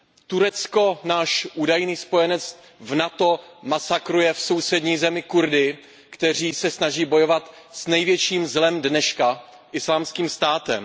Turecko, náš údajný spojenec v NATO, masakruje v sousední zemi Kurdy, kteří se snaží bojovat s největším zlem dneška Islámským státem.